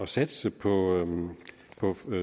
satse på